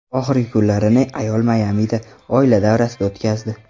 Oxirgi kunlarini ayol Mayamida, oila davrasida o‘tkazdi.